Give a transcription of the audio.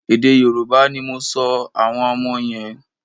Èdè Yorùbá ni mò sọ àwọn ọmọ yẹn.